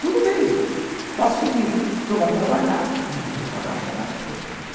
Tudo bem, faça o seguinte, o senhor vai trabalhar e nós vamos pagar o salário seu.